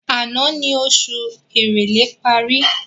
Àná ni oṣù ìrèlé parí